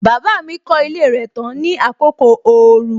Baba mi kọ ilé rẹ tán ní àkókò ooru.